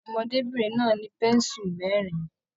Ọmọdébinrin náà ni pensu mẹrin.